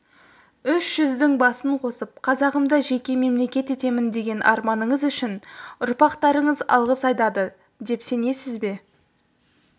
үш жүздің басын қосып қазағымды жеке мемлекет етемін деген арманыңыз үшін ұрпақтарыңыз алғыс айтады деп сенесіз бе